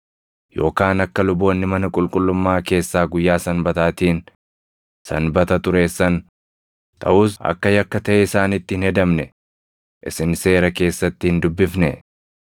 Yookaan akka luboonni mana qulqullummaa keessaa guyyaa Sanbataatiin Sanbata xureessan, taʼus akka yakka taʼee isaanitti hin hedamne isin Seera keessatti hin dubbifnee?